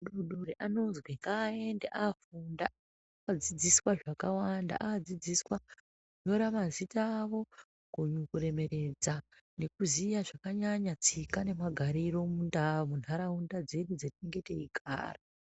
Ana adodori anozwi ngaaende avhurw anodzidziswa zvakàwanda anodzidziswa kunyora mazina awo kuremeredze nekuziya netsika nemagariro mundaraunda.